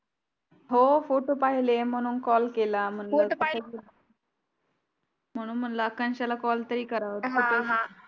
हो फोटो पाहिले म्हणून कॉल केला. म्हणून मला आकांक्षाला कॉल तरी करा मग